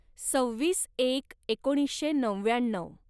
सव्वीस एक एकोणीसशे नव्याण्णव